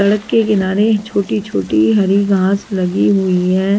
सड़क के किनारे छोटी-छोटी हरी घास लगी हुई है।